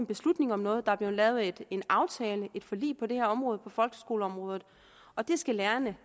beslutning om noget der er blevet lavet en aftale et forlig på det her område på folkeskoleområdet og det skal lærerne